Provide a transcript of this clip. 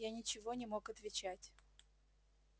я ничего не мог отвечать